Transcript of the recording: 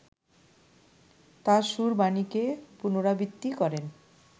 তাঁর সুর-বাণীকে পুনরাবৃত্তি করেন